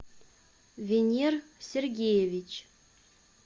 венер сергеевич